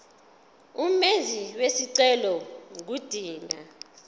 umenzi wesicelo ngodinga